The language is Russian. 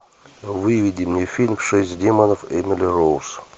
выведи мне фильм шесть демонов эмили роуз